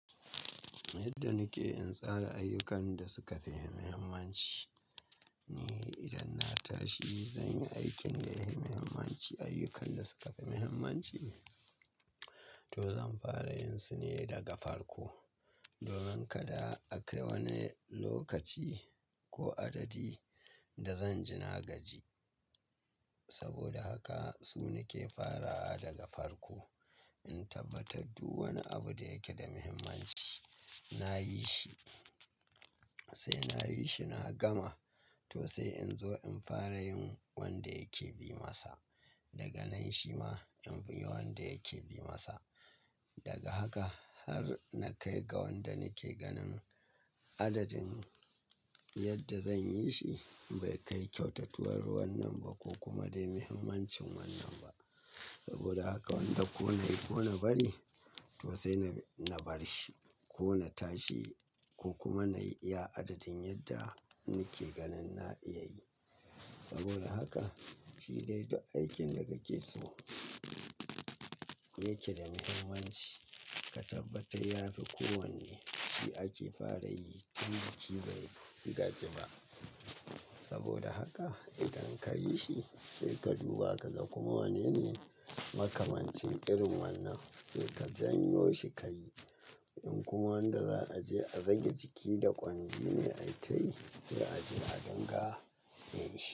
Yadda nike in tsara ayyukan da suka fi muhimmanci ne idan na tashi zanyi aikin da ya fi muhimmanci, ayyukan da suka fi muhimmanci to zan fara yinsu ne daga farko. Domin kada akayi wani lokaci ko adadi da zan jin hagaji. Saboda haka su nike fara a daga farko. In tabbatar duk wani abu da yake da muhimmanci nayi shi sai nayi shi na gama to sai in zo in fara yin wanda yake bi masa. Daga nan shi ma in yi wanda yake bi masa. Daga haka har na kai ga wanda nake ganin adadin yadda zan yi shi bai kai kyautatuwar wannan ba ko kuma dai muhimmancin wannan ba. Saboda haka wanda ko nayi ko na bari to sai na bar shi ko na tashi ko kuma nayi iya adadin yadda nake ganin na iya yi. Saboda haka shida ita aikin da kake so yake da muhimmanci ka tabbatar ya fi kowanne shi ake fara yi tun da kike ba yi gaji ba. Saboda haka idan kayi shi sai ka duba ka ga kuma wanne ne makamancin irin wannan sai ka janyo shi ka yi. In kuma wanda za a je a zagi jiki da kwangi ne ai tayi sai a je a ganga yin shi.